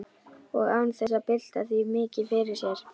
Og án þess að bylta því mikið fyrir sér.